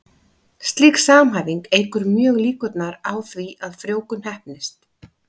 Slík samhæfing eykur mjög líkurnar á því að frjóvgun heppnist.